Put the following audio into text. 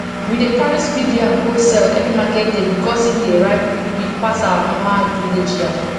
we dey carry speed yam go sell every market day because e dey ripe quickquick pass our normal village yam